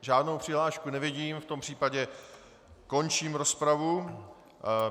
Žádnou přihlášku nevidím, v tom případě končím rozpravu.